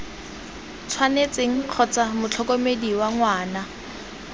tshwanetseng kgotsa motlhokomedi wa ngwana